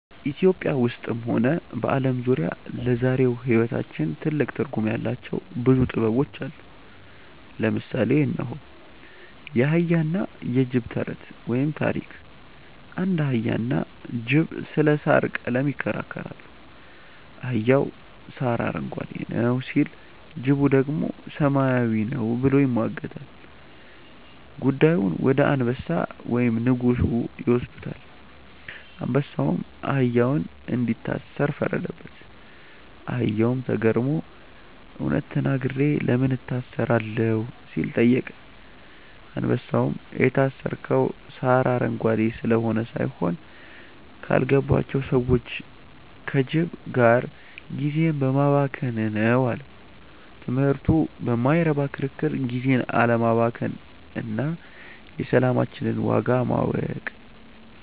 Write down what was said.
ኢትዮጵያ ውስጥም ሆነ በዓለም ዙሪያ ለዛሬው ሕይወታችን ትልቅ ትርጉም ያላቸው ብዙ ጥበቦች አሉ። ለምሳሌ እነሆ፦ የአህያና የጅብ ተረት (ታሪክ) አንድ አህያና ጅብ ስለ ሣር ቀለም ይከራከራሉ። አህያው "ሣር አረንጓዴ ነው" ሲል፣ ጅቡ ደግሞ "ሰማያዊ ነው" ብሎ ይሟገታል። ጉዳዩን ወደ አንበሳ (ንጉሡ) ይወስዱታል። አንበሳውም አህያውን እንዲታሰር ፈረደበት። አህያውም ተገርሞ "እውነት ተናግሬ ለምን እታሰራለሁ?" ሲል ጠየቀ። አንበሳውም "የታሰርከው ሣር አረንጓዴ ስለሆነ ሳይሆን፣ ካልገባቸው ሰዎች (ከጅብ) ጋር ጊዜህን በማባከንህ ነው" አለው። ትምህርቱ በማይረባ ክርክር ጊዜን አለማባከን እና የሰላማችንን ዋጋ ማወቅ።